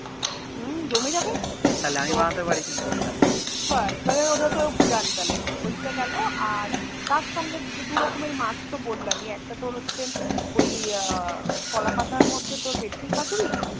হম জমে যাবে বাস তাহে তো হয়েগেলো ওটা Done তাহলে ওটা গেলো তার সঙ্গে দু রকমের মাছ তো বলাম একটা হচ্ছে কলাপাতার মধ্যে ওই ভেটকি পাতুরি